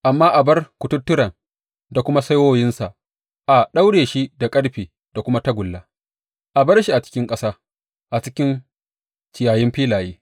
Amma a bar kututturen da kuma saiwoyinsa, a daure shi da ƙarfe da kuma tagulla, a bar shi a cikin ƙasa, a cikin ciyayin filaye.